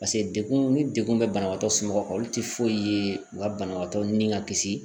paseke dekun ni dekun be banabaatɔ somɔgɔw kan olu te foyi ye u ka banabagatɔ ni ka kisi